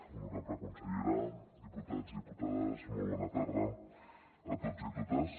honorable consellera diputats i diputades molt bona tarda a tots i a totes